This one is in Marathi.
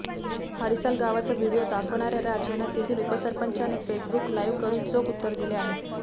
हरिसाल गावाचा व्हिडीयो दाखवणार्या राज यांना तेथील उपसरपंचाने फेसबुक लाईव्ह करून चोख उत्तर दिले आहे